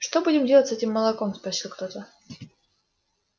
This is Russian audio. что будем делать с этим молоком спросил кто-то